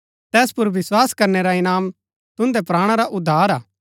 तैस पुर विस्वास करनै रा इनाम तुन्दै प्राणा रा उद्धार हा